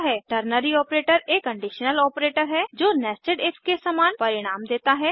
ternary operator एक conditional operator है जो nested इफ के समान परिणाम देता है